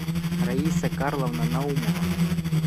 раиса карловна наумова